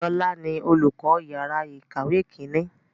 Lọ́la ni olùkọ́ yàrá ìkàwé Kínní